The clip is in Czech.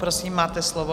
Prosím, máte slovo.